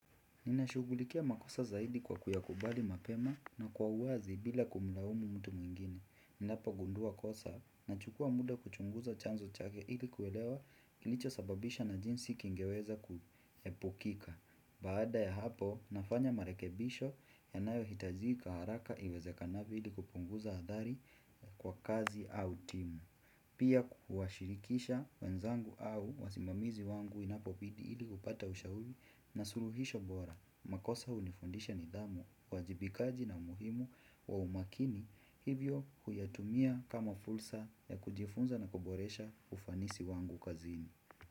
Ninashugulikia makosa zaidi kwa kuyakubali mapema na kwa uwazi bila kumlaumu mtu mwingine. Ninapogundua kosa nachukua muda kuchunguza chanzo chake ili kuelewa kilicho sababisha na jinsi kingeweza kuhepukika. Baada ya hapo nafanya marekebisho yanayo hitajika haraka iweze kanavyo ili kupunguza adhari kwa kazi au timu. Pia kuwashirikisha wenzangu au wazimamizi wangu inapo bidi ili kupata ushauri na suluhisha bora makosa hunifundisha nidhamu, uwajibikaji ni muhimu kwa umakini hivyo huyatumia kama fursa ya kujifunza na kuboresha ufanisi wangu kazini.